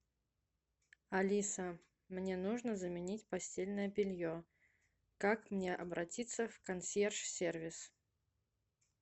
алиса мне нужно заменить постельное белье как мне обратиться в консьерж сервис